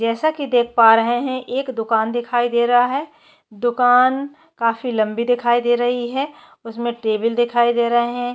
जैसा की देख पा रहे हैएक दुकान दिखाई दे रहा है दुकान काफी लंबी दिखाई दे रही है उसमे टेबल दिखाई दे रहे है।